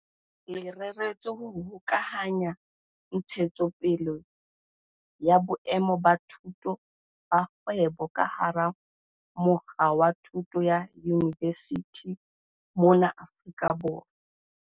Le reretswe ho hokahanya ntshetsopele ya boemo ba boithuti ba kgwebo ka hara mokga wa thuto ya yunivesithi mona Afrika Borwa.